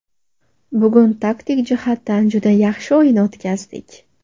Bugun taktik jihatdan juda yaxshi o‘yin o‘tkazdik.